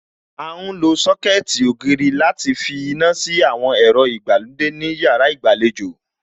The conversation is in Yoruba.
À ń lo Sọ́kẹ̀tì ògiri láti finá sí àwọn ẹ̀rọ ìgbàlódé ní yàrá ìgbàlejò